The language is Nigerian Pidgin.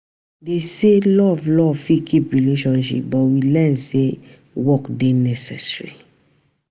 Dem say love love fit keep relationship but we learn sey work dey necessary.